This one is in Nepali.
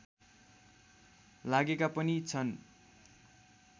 लागेका पनि छन्